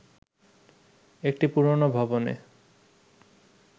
একটি পুরোনো ভবনে